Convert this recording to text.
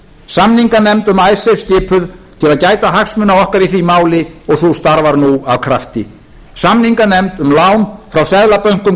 samninganefnd um icesave skipuð til að gæta hagsmuna okkar í því máli og sú starfar nú af krafti samninganefnd um lán frá seðlabönkum